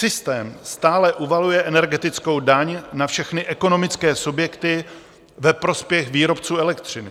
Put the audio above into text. Systém stále uvaluje energetickou daň na všechny ekonomické subjekty ve prospěch výrobců elektřiny.